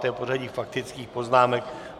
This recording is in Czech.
To je pořadí faktických poznámek.